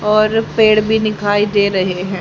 और पेड़ भी दिखाई दे रहे हैं।